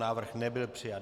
Návrh nebyl přijat.